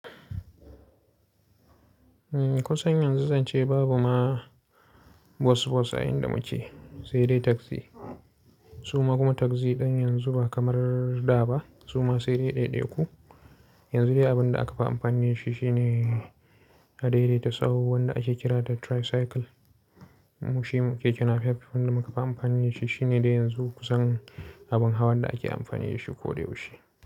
Kusan yanzu zan ce babu ma bus bus a inda muke, sai dai taxi. Su ma kuma taxi ɗin yanzu ba kamar da ba, su ma sai dai ɗaiɗaiku. Yanzu dai abin da aka fi amfani da shi shine a daidaita sahu wanda ake kira da tricycle. Mu shi mu, keke napep, wanda muka fi amfani da shi shine dai yanzu kusan abin hawan da ake amfani da shi koda yaushe.